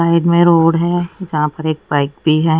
Side मे road है जहां पर एक बाइक भी है।